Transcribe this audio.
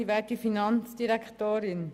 Die Sitzung ist geschlossen.